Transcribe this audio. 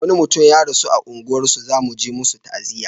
wani ya rasu a unguwar mu za muje musu ta'aziya